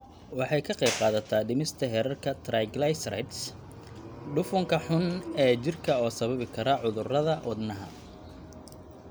Waxay ka qaybqaadataa dhimista heerarka triglycerides, dufanka xun ee jirka oo sababi kara cudurrada wadnaha.